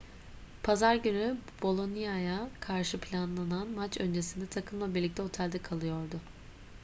pazar günü bolonia'ya karşı planlanan maç öncesinde takımla birlikte otelde kalıyordu